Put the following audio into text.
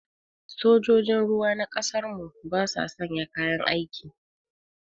Sojojin ruwa na ƙasar mu ba sa sanya kayan aiki